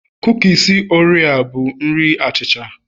kukis oreo bụ nri achicha